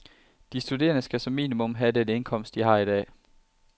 De studerende skal som minimum have den indkomst, de har i dag.